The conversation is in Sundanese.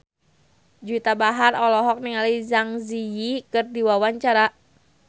Juwita Bahar olohok ningali Zang Zi Yi keur diwawancara